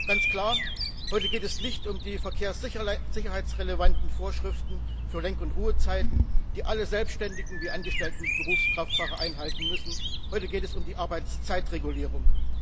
Es ist ganz klar Heute geht es nicht um die verkehrssicherheitsrelevanten Vorschriften für Lenk und Ruhezeiten, die alle selbständigen wie angestellten Berufskraftfahrer einhalten müssen, heute geht es um die Arbeitszeitregulierung.